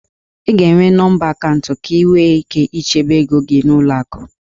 Ị ga-enwe nọmba akaụntụ ka ị nwee ike ichebe ego gị n'ụlọ akụ.